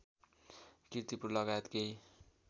कीर्तिपुर लगायत केही